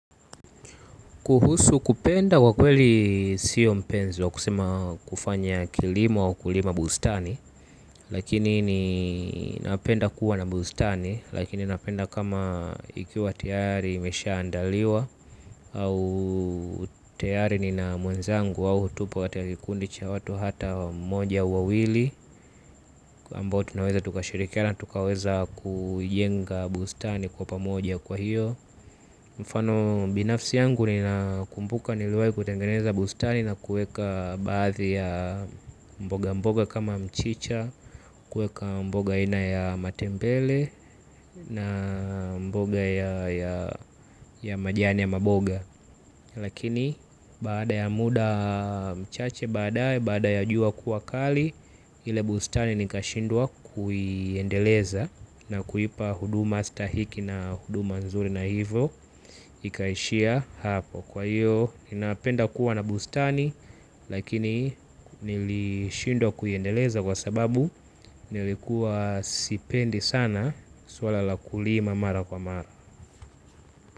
Kuhusu kupenda kwa kweli siyo mpenzi wa kusema kufanya kilimo wa kulima bustani. Lakini ninapenda kuwa na bustani. Lakini napenda kama ikiwa tayari imesha andaliwa. Au tayari nina mwenzangu au hupo kati kikundi cha watu hata moja ua wawili ambao tunaweza tukashirikiana tukaweza kuijenga bustani kwa pamoja kwa hiyo. Mfano binafsi yangu nina kumbuka niliwai kutengeneza bustani na kueka baadhi ya mboga mboga kama mchicha, kueka mboga aina ya matembele na mboga ya majani ya maboga. Lakini baada ya muda mchache baade baada ya jua kuwa kali. Ile bustani ni kashindwa kuyiendeleza. Na kuipa huduma stahiki na huduma nzuri na hivyo ikaishia hapo. Kwa hiyo ninapenda kuwa na bustani. Lakini nilishindwa kuyiendeleza kwa sababu nilikuwa sipendi sana swala la kulima mara kwa mara.